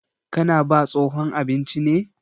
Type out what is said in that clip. Ka na ba tsohon abinci ne?